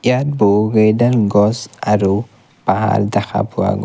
ইয়াত বহুকেইডাল গছ আৰু পাহাৰ দেখা পোৱা গৈ--